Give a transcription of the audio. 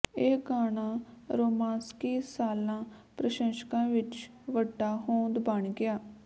ਇਹ ਗਾਣਾ ਰੋਮਾਂਸਕੀ ਸਾੱਲਾ ਪ੍ਰਸ਼ੰਸਕਾਂ ਵਿਚ ਵੱਡਾ ਹੋਂਦ ਬਣ ਗਿਆ